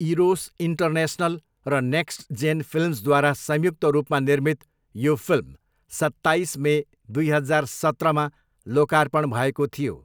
Eros international र next gen फिल्म्सद्वारा संयुक्त रूपमा निर्मित यो फिल्म सत्ताइस मे दुई हजार सत्रमा लोकार्पण भएको थियो।